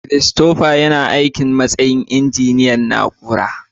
Christopher yana aiki a matsayin injiniyan na'ura.